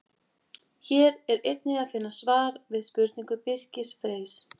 Hér er einnig að finna svar við spurningu Birkis Freys: